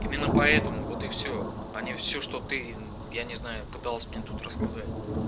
именно поэтому вот и всё они всё что ты я не знаю пыталась мне тут рассказать